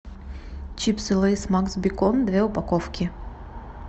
чипсы лейс макс бекон две упаковки